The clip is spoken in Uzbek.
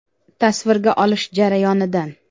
Tasvirga olish jarayonidan.